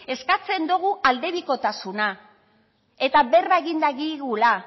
eskatzen dugu aldebikotasuna eta berba egin dagigula